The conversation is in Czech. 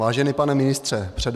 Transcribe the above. Vážený pane ministře, před